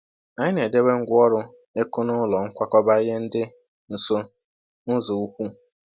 Anyị na-edobe ngwa ọrụ ịkụ n’ụlọ nkwakọba ihe dị nso n’ụzọ ukwu